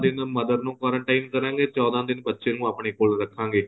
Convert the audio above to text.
ਚੋਦਾਂ ਦਿਨ mother ਨੂੰ quarantine ਕਰਾਗੇ ਚੋਦਾਂ ਦਿਨ ਬੱਚੇ ਨੂੰ ਆਪਣੇਂ ਕੋਲ ਰੱਖਾਗੇ